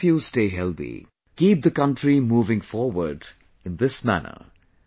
May all of you stay healthy, keep the country moving forward in this manner